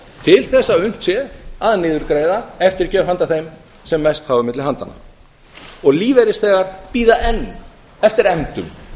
til þess að unnt sé að niðurgreiða eftirgjöf handa þeim sem mest hafa milli handanna og lífeyrisþegar bíða enn eftir efndum